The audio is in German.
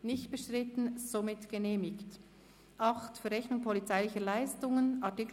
Wir kommen zum Kapitel 8 «Verrechnung polizeilicher Leistungen».